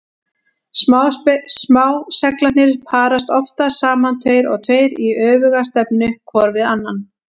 Smá-seglarnir parast oftast saman tveir og tveir í öfuga stefnu hvor við annan.